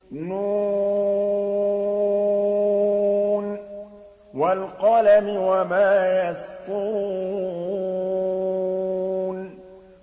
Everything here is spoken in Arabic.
ن ۚ وَالْقَلَمِ وَمَا يَسْطُرُونَ